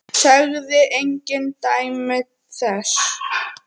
Sagði engin dæmi þess.